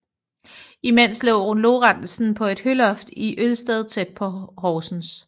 Imens lå Lorentzen på et høloft i Ølsted tæt på Horsens